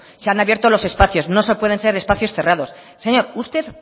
se han abierto los espacios no pueden ser espacios cerrados señor usted